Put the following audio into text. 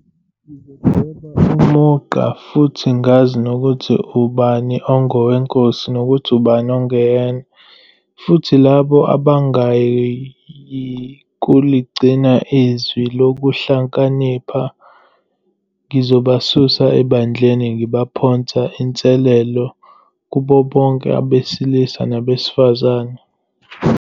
Ngizodweba umugqa, futhi ngazi ukuthi ubani ongoweNkosi nokuthi ubani ongeyena, futhi labo abangayi kuligcina iZwi loKuhlakanipha, ngizobasusa eBandleni, Ngiphonsa inselelo kubo bonke abesilisa nabesifazane.